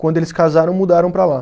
Quando eles casaram, mudaram para lá.